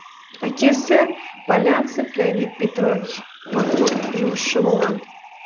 әкесі полянцев леонид петрович марқұм жұмысшы болған